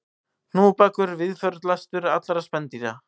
Hnúfubakur víðförlastur allra spendýra